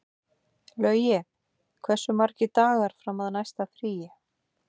Laugi, hversu margir dagar fram að næsta fríi?